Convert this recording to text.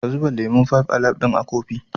Ka zuba lemon "Five alive" ɗin a kofi